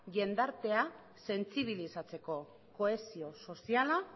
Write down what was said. jendartea sentsibilizatzeko kohesio soziala